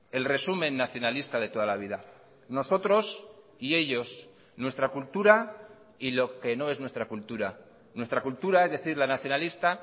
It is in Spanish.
el resumen nacionalista de toda la vida nosotros y ellos nuestra cultura y lo que no es nuestra cultura nuestra cultura es decir la nacionalista